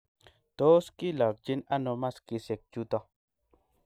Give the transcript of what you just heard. tos kilakchini ano maskisiek chuto